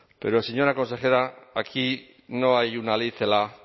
pero señora consejera aquí no hay una ley celaá